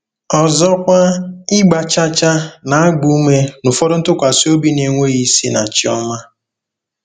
Ọzọkwa, ịgba chaa chaa na-agba ume n'ụfọdụ ntụkwasị obi na-enweghị isi na chi ọma.